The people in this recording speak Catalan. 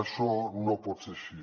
això no pot ser així